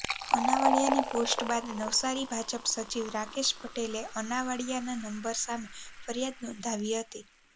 અનાવાડિયાની post બાદ નવસારી ભાજપ સચિવ રાકેશ પટેલે અનાવાડિયાના નંબર સામે ફરિયાદ નોંધાવી હતી